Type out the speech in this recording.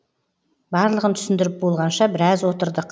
барлығын түсіндіріп болғанша біраз отырдық